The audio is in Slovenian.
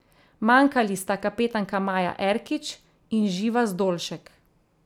Manjkali sta kapetanka Maja Erkič in Živa Zdolšek.